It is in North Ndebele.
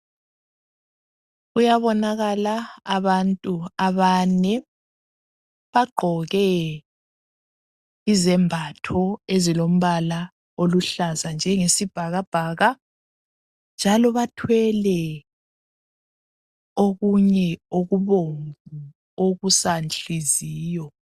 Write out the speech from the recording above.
Kuyabonakala abantu abane, bagqoke izembatho ezilombala oluhlaza njengesibhakabhaka njalo bathwele okunye okubomvu okusanhliziyo.